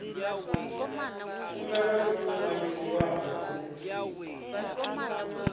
khumbelo yo no ṅwaliswaho u